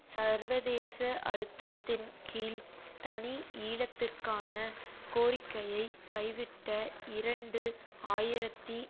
சர்வதேச அழுத்தத்தின் கீழ் தனி ஈழத்திற்கான கோரிக்கையை கைவிட்ட இரண்டு ஆயிரத்தி